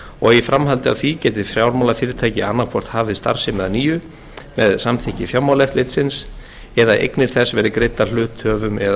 og í framhaldi af því geti fjármálafyrirtæki annað hvort hafið starfsemi að nýju með samþykki fjármálaeftirlitsins eða eignir þess verði greiddar hluthöfum eða